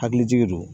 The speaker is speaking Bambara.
Hakilitigi don